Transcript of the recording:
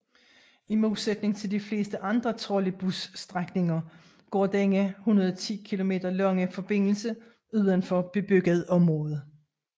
I modsætning til de fleste andre trolleybusstrækninger går denne 110 km lange forbindelse udenfor bebygget område